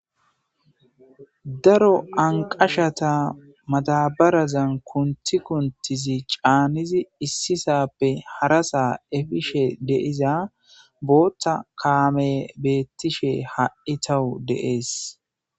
daro anqashata matabarazan kunti kuntizi caanizi issisappe harasa efishe deiza bootta kaame beettishe ha7i tawu deees